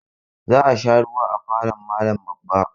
Za a sha ruwa a falon malam babba.